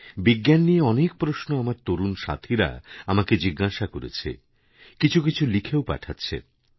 বিজ্ঞান নিয়ে অনেক প্রশ্ন আমার তরুণ সাথীরা আমাকে জিজ্ঞাসা করেছেকিছু কিছু লিখেও পাঠাচ্ছে